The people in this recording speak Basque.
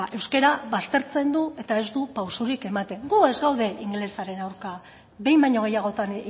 euskara baztertzen du eta ez du pausurik ematen gu ez gaude ingelesaren aurka behin baino gehiagotan